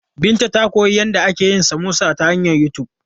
Binta ta koyi yadda ake yin samosa ta hanyar YouTube.